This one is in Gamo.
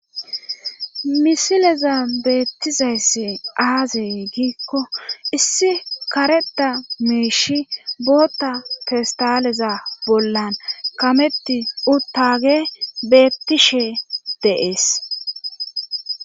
Misileza beettizayssi aazey giikko issi kareda meeshi bootta festaleza bollan kametti uttage beettishe deees.